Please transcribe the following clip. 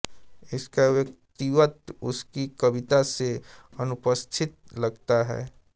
उसका व्यक्तित्व उसकी कविता से अनुपस्थित लगता है